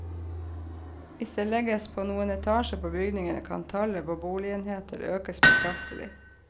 Hvis det legges på noen etasjer på bygningene, kan tallet på boligenheter økes betraktelig.